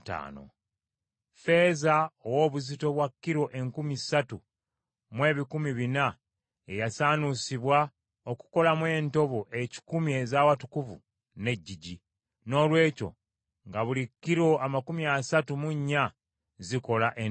Ffeeza ow’obuzito bwa kilo enkumi ssatu mu ebikumi bina ye yasaanuusibwa okukolamu entobo ekikumi ez’Awatukuvu n’eggigi: noolwekyo, nga buli kilo amakumi asatu mu nnya zikola entobo emu.